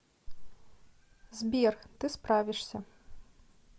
сбер ты справишься